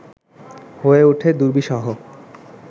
হয়ে উঠে দুর্বিসহ